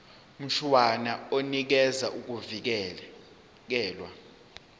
mshwana unikeza ukuvikelwa